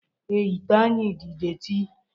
Ee, ite anyị dị detị